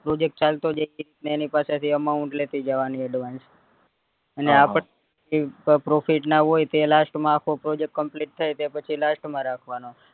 project ચાલતો જાય એ રીતે એની પાસે થી amount લેતી જવાની advance ને આપડે profit ના હોય તો તે last માં આખો project complete થાય તે પછી last, અ રાખવાનો